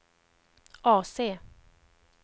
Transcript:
AC